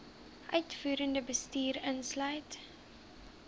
uitvoerende bestuur insluit